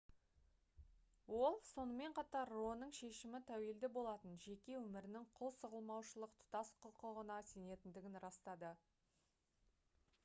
ол сонымен қатар ро-ның шешімі тәуелді болатын жеке өмірінің құл сұғылмаушылық тұтас құқығына сенетіндігін растады